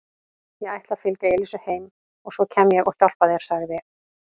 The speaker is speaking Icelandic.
Ég ætla að fylgja Elísu heim og svo kem ég og hjálpa þér sagði